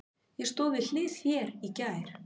Ég stóð við hlið þér í gær.